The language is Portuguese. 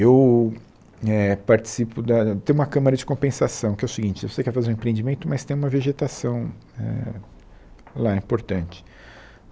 Eu eh participo da... tem uma câmara de compensação, que é o seguinte, você quer fazer um empreendimento, mas tem uma vegetação éh lá importante.